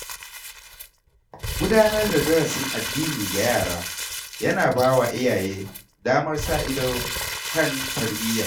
Gudanar da darasin addini ga yara ya na ba wa iyaye damar sa ido kan tarbiyya.